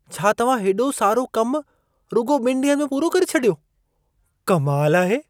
छा तव्हां हेॾो सारो कमु रुॻो ॿिनि ॾींहनि में पूरो करे छॾियो? कमाल आहे।